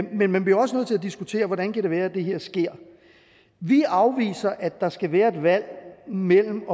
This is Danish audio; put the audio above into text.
men man bliver også nødt til at diskutere hvordan det kan være at det her sker vi afviser at der skal være et valg mellem